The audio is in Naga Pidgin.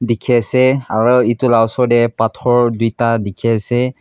dekhe ase aro etu la osor dae pathor duida dekhe ase.